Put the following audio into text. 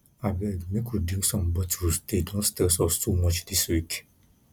abeg make we drink some bottles dey don stress us too much dis week